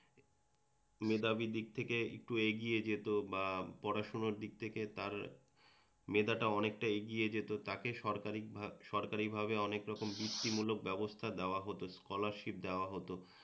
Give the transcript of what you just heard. মেধাবী দিক থেকে একটু এগিয়ে যেত বা পড়াশুনো দিক থেকে তার মেধাটা অনেকটা এগিয়ে যেত তাকে সরকারি ভা সরকারিভাবে অনেক রকম বিত্তি মূলক ব্যবস্থা দেওয়া হত স্কলারশিপ দেওয়া হত।